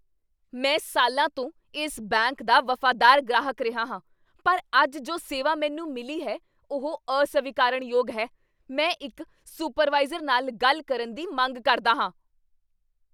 ਮੈਂ ਸਾਲਾਂ ਤੋਂ ਇਸ ਬੈਂਕ ਦਾ ਵਫ਼ਾਦਾਰ ਗ੍ਰਾਹਕ ਰਿਹਾ ਹਾਂ, ਪਰ ਅੱਜ ਜੋ ਸੇਵਾ ਮੈਨੂੰ ਮਿਲੀ ਹੈ, ਉਹ ਅਸਵੀਕਾਰਨਯੋਗ ਹੈ। ਮੈਂ ਇੱਕ ਸੁਪਰਵਾਈਜ਼ਰ ਨਾਲ ਗੱਲ ਕਰਨ ਦੀ ਮੰਗ ਕਰਦਾ ਹਾਂ!